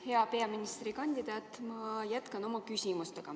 Hea peaministrikandidaat, ma jätkan oma küsimusi.